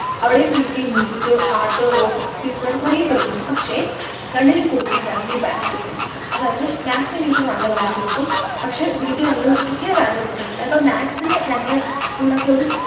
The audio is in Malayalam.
അവിടെയും pt ഉം music art work experience ന്ന് പറഞ്ഞിട്ട് കൊറേ period ണ്ട് പക്ഷെ രണ്ടിനും കൊടുക്കുന്ന value ഭയങ്കര different ഇണ്ട് അതായത് maths english നു നല്ല value കൊടുക്കും പക്ഷെ pt ന്ന് ലൊരു തീരെ value കൊടുക്കാറില്ല ഇപ്പൊ maths നു നങ്ങളെ school ലോക്കെ ഒരു